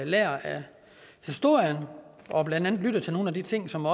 lærte af historien og blandt andet lyttede til nogle af de ting som